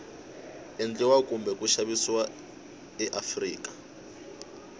endliwa kumbe ku xavisiwa eafrika